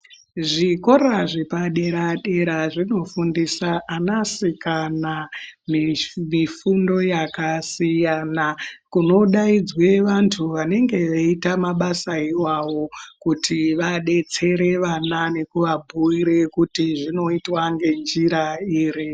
Zvikora zvepaderadera zvinofundisa anasikana mifundo yakasiyana kunodaidzwa vantu vanenge veita mabasa iwawo kuti vadetsere vana kuti zvinoitwa ngenjira iri.